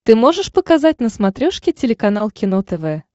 ты можешь показать на смотрешке телеканал кино тв